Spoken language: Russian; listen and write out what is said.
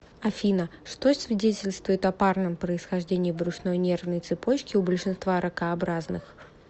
афина что свидетельствует о парном происхождении брюшной нервной цепочки у большинства ракообразных